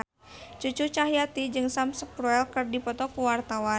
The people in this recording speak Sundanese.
Cucu Cahyati jeung Sam Spruell keur dipoto ku wartawan